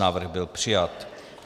Návrh byl přijat.